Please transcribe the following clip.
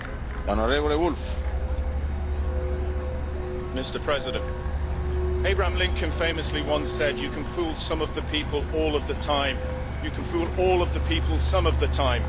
Mr President, Abraham Lincoln famously once said you can fool some of the people all of the time you can fool all of the people some of the time